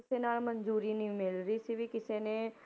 ਕਿਸੇ ਨਾਲ ਮੰਨਜ਼ੂਰੀ ਨੀ ਮਿਲ ਰਹੀ ਸੀ ਵੀ ਕਿਸੇ ਨੇ,